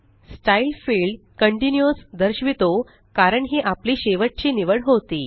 style field continuous दर्शवितो कारण ही आपली शेवटची निवड होती